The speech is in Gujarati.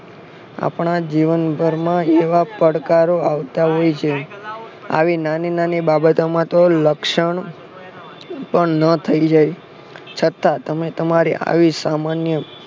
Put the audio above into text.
આપણા જીવન ભરમાં એવા પડકારો આવતા હોય છે આવી નાની નાની બાબતો માં તો લક્ષણ પણ ન થઈ જય છતાં તમે તમારી આવી સામાન્ય